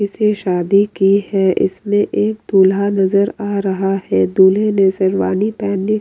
किसी शादी की है इसमें एक दूल्हा नजर आ रहा है दूल्हे शेरवानी पहनी --